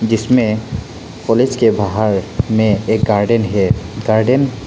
जिसमें कॉलेज के बाहर में एक गार्डन है गार्डन --